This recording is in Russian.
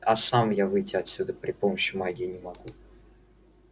а сам я выйти отсюда при помощи магии не могу